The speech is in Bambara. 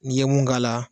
N'i ye mun k'a la